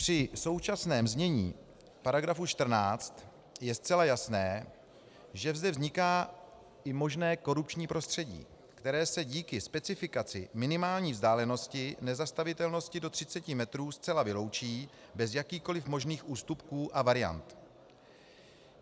Při současném znění § 14 je zcela jasné, že zde vzniká i možné korupční prostředí, které se díky specifikaci minimální vzdálenosti nezastavitelnosti do 30 metrů zcela vyloučí bez jakýchkoli možných ústupků a variant.